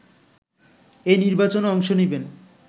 এই নির্বাচনে অংশ নেবেন